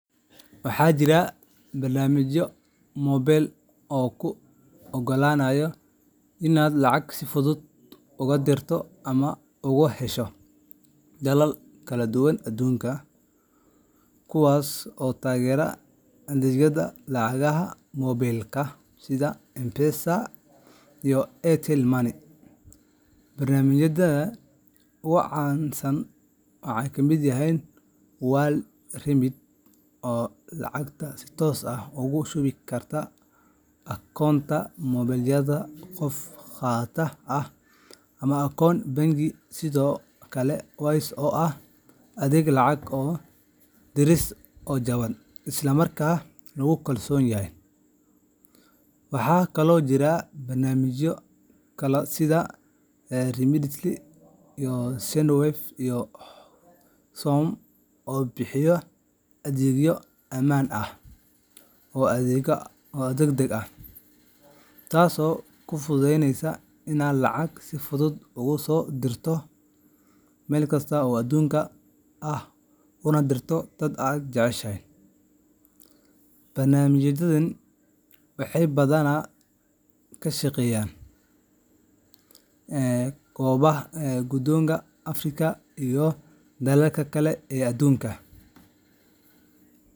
Waxaa jira barnaamijyo mobile oo kuu oggolaanaya inaad lacag si fudud uga dirto ama uga hesho dalal kala duwan aduunka, kuwaas oo taageera adeegyada lacagaha moobaylka sida M-Pesa iyo Airtel Money. Barnaamijyada ugu caansan waxaa ka mid ah WorldRemit, oo lacagta si toos ah ugu shubi kara akoonka moobaylka qofka qaataha ah ama akoon bangi, sidoo kale Wise oo ah adeeg lacag diris oo jaban isla markaana lagu kalsoon yahay. Waxaa kaloo jira barnaamijyo kale sida Remitly, Sendwave, iyo Xoom oo bixiya adeegyo ammaan ah oo degdeg ah, taasoo kuu fududeynaysa inaad lacag si fudud uga soo dirto meel kasta oo aduunka ah una dirto dadka aad jeceshahay. Barnaamijyadani waxay badanaa ka shaqeeyaan gudaha Afrika iyo dalalka kale ee adduunka.